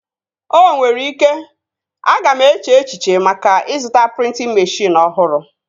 O nwere ike, aga m eche echiche maka ịzụta prịntịn meshịn ọhụrụ